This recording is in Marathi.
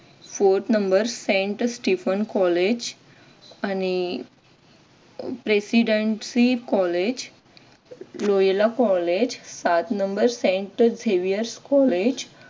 forth number saint stiffen college आणि presidency कॉलेज Loyola कॉलेज पाच number saint Vesuvius कॉलेज